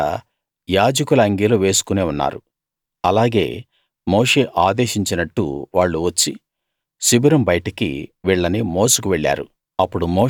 వాళ్ళింకా యాజకుల అంగీలు వేసుకునే ఉన్నారు అలాగే మోషే ఆదేశించినట్టు వాళ్ళు వచ్చి శిబిరం బయటకు వీళ్ళని మోసుకు వెళ్ళారు